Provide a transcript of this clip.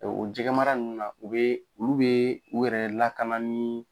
Ɛɛ o jɛgɛ mara nunnu na, u be olu be u yɛrɛ lakana ni